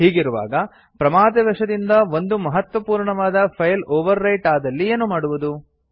ಹೀಗಿರುವಾಗ ಪ್ರಮಾದವಶದಿಂದ ಒಂದು ಮಹತ್ವಪೂರ್ಣವಾದ ಫೈಲ್ ಓವರ್ ರೈಟ್ ಆದಲ್ಲಿ ಏನು ಮಾಡುವುದು